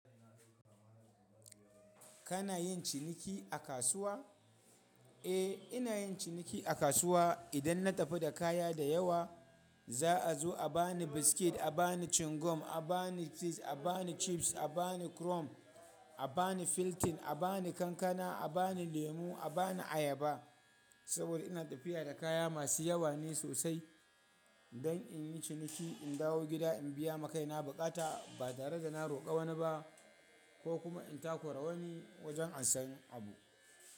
Kana yin ciniki a kasuwa? Eh, ina yin ciniki a kasuwa. Idan na tafi da kaya da yawa, za a zo a bani biskit, a bani chingum, a bani cheese, a bani chips, a bani krom, a bani filtin, a bani kankana, a bani lemu, a bani ayaba. Saboda ina tafiya da kaya masu yawa ne sosai don in yi ciniki, in dawo gida in biya makaina bukata ba tare da na roƙa wani ba ko kuma in takora wani wajen in samu abu.